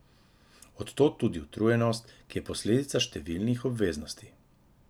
Od tod tudi utrujenost, ki je posledica številnih obveznosti.